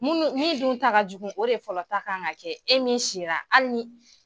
Munu mun dun ta ka jugu o de fɔlɔ ta kan ka kɛ e min sira hali ni